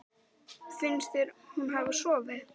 Lára: Finnst þér hún hafa sofið?